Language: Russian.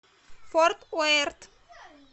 форт уэрт